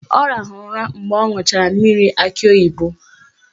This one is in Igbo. Ọ rahụrụ ụra mgbe ọ ṅụchara mmiri akị oyibo